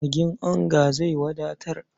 Magin onga zai wadatar.